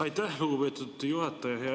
Aitäh, lugupeetud juhataja!